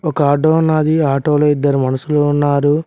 ఒక ఆటో ఉన్నది ఆటోలో ఇద్దరు మనషులు ఉన్నారు.